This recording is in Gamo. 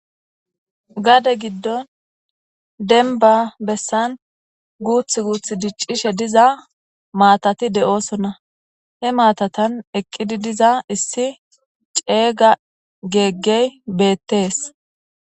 Gade giddon denba bessan guuth guuth diccishe diza maatati de'oosonna he maatatan eqqidi diza issi ceeyga geeggey beettees